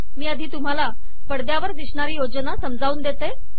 मी आधी तुम्हाला पडद्यावर दिसणारी योजना समजावून देते